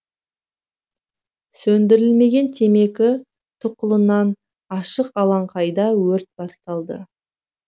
сөндірілмеген темекі тұқылынан ашық алаңқайда өрт басталды